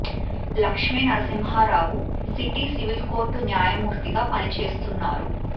Lakshmi Narasimha Rao city civil court న్యాయమూర్తిగా పని చేస్తున్నారు